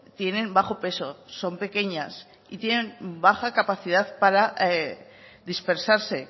tienen bajo peso son pequeñas y tienen baja capacidad para dispersarse